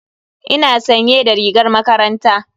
Ina sanye da rigar makaranta.